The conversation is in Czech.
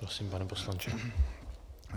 Prosím, pane poslanče.